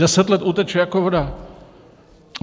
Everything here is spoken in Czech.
Deset let uteče jako voda.